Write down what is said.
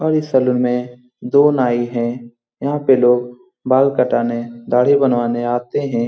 और इस सैलून में दो नाई है यहाँ पे लोग बाल कटाने दाढ़ी बनवाने आते हैं।